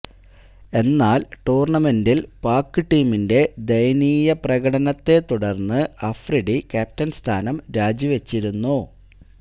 എന്നാല് ടൂര്ണമെന്റില് പാക് ടീമിന്റെ ദയനീയ പ്രകടനത്തെത്തുടര്ന്നു അഫ്രീദി ക്യാപ്റ്റന് സ്ഥാനം രാജി വച്ചിരുന്നു